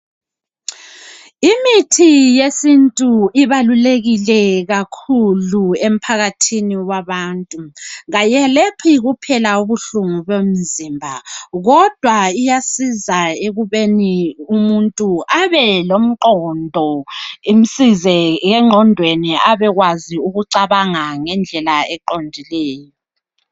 Imithi yesintu ibalulekile kakhulu emphakathini wabantu .Kayelaphi kuphela ubuhlungu bomzimba . Kodwa iyasiza ekubeni umuntu abelomqondo .Imsize engqondweni abekwazi ukucabanga ngendlela eqondileyo.